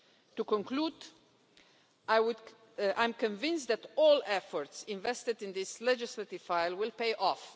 To conclude, I am convinced that all efforts invested in this legislative file will pay off.